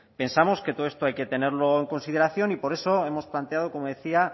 pensamos que todo esto hay que tenerlo consideración y por eso hemos planteado como decía